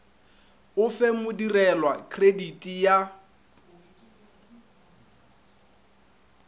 o fe modirelwa krediti ya